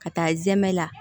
Ka taa zɛmɛ la